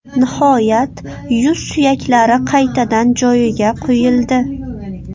Nihoyat, yuz suyaklari qaytadan joyiga qo‘yildi.